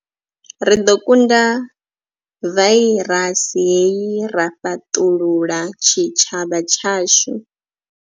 Ri ḓo kunda vairasi hei ra fhaṱulula tshitshavha tshashu.